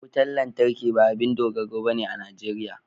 Wutar lantarki ba abin dogaro bane a Najeriya